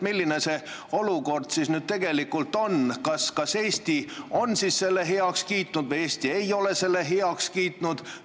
Milline see olukord siis tegelikult on: kas Eesti on selle heaks kiitnud või Eesti ei ole seda heaks kiitnud?